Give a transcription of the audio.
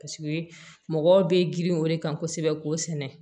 Paseke mɔgɔw bɛ girin o de kan kosɛbɛ k'o sɛnɛ